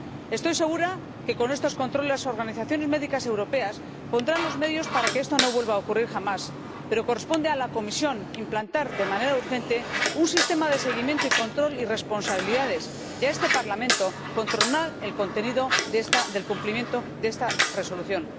Estoy segura de que con estos controles las organizaciones médicas europeas pondrán los medios para que esto no vuelva a ocurrir jamás, pero corresponde a la Comisión implantar de manera urgente un sistema de seguimiento y control, y responsabilidades, y a este Parlamento controlar el contenido del cumplimiento de esta Resolución.